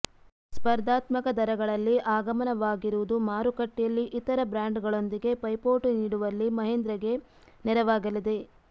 ಸ್ಪರ್ಧಾತ್ಮಕ ದರಗಳಲ್ಲಿ ಆಗಮನವಾಗಿರುವುದು ಮಾರುಕಟ್ಟೆಯಲ್ಲಿ ಇತರ ಬ್ರಾಂಡ್ಗಳೊಂದಿಗೆ ಪೈಪೋಟಿ ನೀಡುವಲ್ಲಿ ಮಹೀಂದ್ರಗೆ ನೆರವಾಗಲಿದೆ